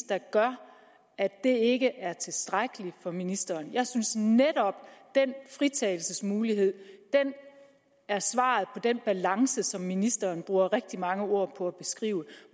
der gør at det ikke er tilstrækkeligt for ministeren jeg synes netop at den fritagelsesmulighed er svaret på den balance som ministeren bruger rigtig mange ord på at beskrive